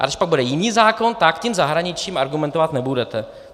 A když pak bude jiný zákon, tak tím zahraničím argumentovat nebudete!